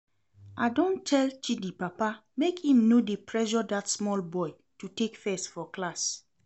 I don tell Chidi papa make im no dey pressure dat small boy to take first for class